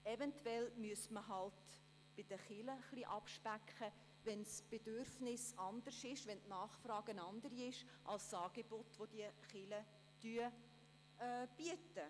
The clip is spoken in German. Eventuell müsste man bei den Kirchen halt etwas abspecken, wenn das Bedürfnis sich verändert hat und die Nachfrage eine andere ist als das Angebot der Kirchen.